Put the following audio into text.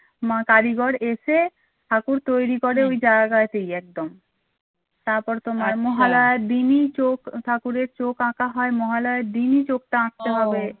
মা কারিগর এসে ঠাকুর তৈরী করে ওই জায়গাতেই একদম, তারপরে তোমার মহালয়ার দিনই চোখ ঠাকুরের চোখ আঁকা হয় মহালয়ার দিনই চোখটা আঁকতে হবে